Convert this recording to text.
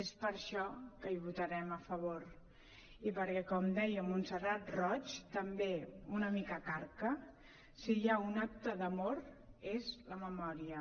és per això que hi votarem a favor i perquè com deia montserrat roig també una mica carca si hi ha un acte d’amor és la memòria